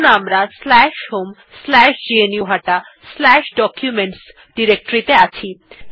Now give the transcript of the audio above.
আমরা এখন homegnuhataDocuments directory তে আছি